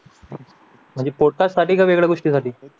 म्हणजे पोटासाठी की वेगळ्या गोष्टींसाठी